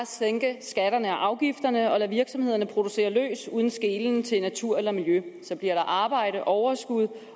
sænke skatterne og afgifterne og lade virksomhederne producere løs uden skelen til natur eller miljø så bliver der arbejde overskud